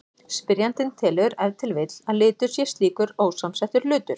Spyrjandinn telur ef til vill að litur sé slíkur ósamsettur hlutur.